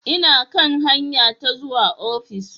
Ina kan hanya ta zuwa ofis.